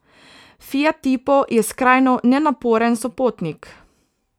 Fiat tipo je skrajno nenaporen sopotnik.